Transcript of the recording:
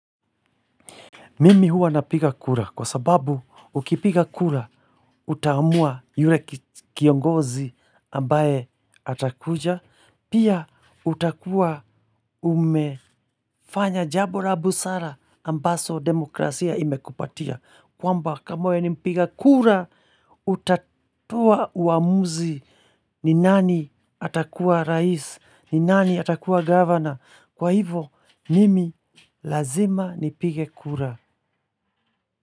Mimi huwa napiga kura kwa sababu ukipiga kura utaamua yule kiongozi ambaye atakuja pia utakuwa umefanya jambo la busara ambaso demokrasia imekupatia kwamba kama wewe ni mpiga kura utatoa uamuzi ni nani atakuwa rais ni nani atakuwa governor kwa hivo mimi lazima nipige kura.